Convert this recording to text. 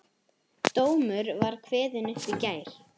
Dómur var kveðinn upp í gær